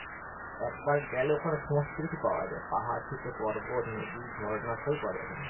একবার গেলে ওখানে সমস্ত কিছু পাওয়া যায় পাহাড় থেকে পর্বত নদী ঝর্ণা সবই পাওয়া যায় ওখানে।